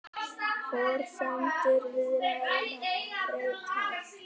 Forsendur viðræðna breyttar